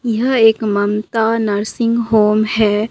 यह एक Mamta nursing home है।